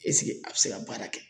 a bɛ se ka baara kɛ